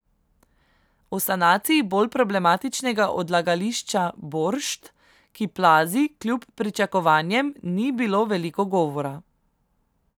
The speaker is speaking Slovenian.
O sanaciji bolj problematičnega odlagališča Boršt, ki plazi, kljub pričakovanjem ni bilo veliko govora.